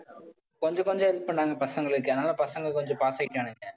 கொஞ்சம் கொஞ்சம் help பண்ணாங்க பசங்களுக்கு. அதனால பசங்க கொஞ்சம் பார்த்துக்கிட்டானுங்க.